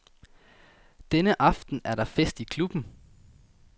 Denne aften er der fest i klubben.